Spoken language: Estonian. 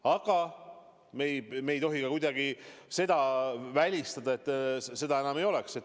Aga me ei tohi kuidagi välistada, et muud võimalust enam ei ole.